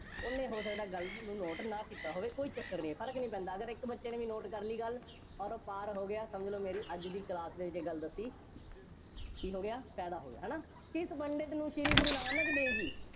ਉਹਨੇ ਹੋ ਸਕਦਾ ਹੈ ਗੱਲ ਨੂੰ note ਨਾ ਕੀਤਾ ਹੋਵੇ, ਕੋਈ ਚੱਕਰ ਨਹੀਂ, ਫਰਕ ਨਹੀਂ ਪੈਂਦਾ, ਅਗਰ ਇੱਕ ਬੱਚੇ ਨੇ ਵੀ note ਕਰ ਲਈ ਗੱਲ, ਅੋਰ ਉਹ ਪਾਰ ਹੋ ਗਿਆ, ਸਮਝ ਲਓ ਮੇਰੀ ਅੱਜ ਦੀ class ਦੇ ਵਿੱਚ ਇਹ ਗੱਲ ਦੱਸੀ ਕੀ ਹੋ ਗਿਆ, ਫਾਇਦਾ ਹੋਇਆ, ਹੈ ਨਾ, ਕਿਸ ਪੰਡਿਤ ਨੂੰ ਸ਼੍ਰੀ ਗੁਰੂ ਨਾਨਕ ਦੇਵ ਜੀ,